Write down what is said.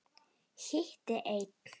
Hitti einn.